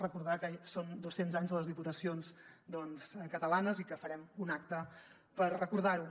recordar que són dos cents anys de les diputacions catalanes i que farem un acte per recordar ho